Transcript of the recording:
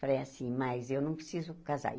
Falei assim, mas eu não preciso casar.